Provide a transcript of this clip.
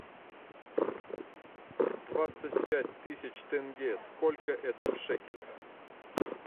двадцать пять тысяч тенге сколько это в шекелях